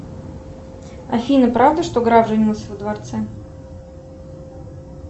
афина правда что граф женился во дворце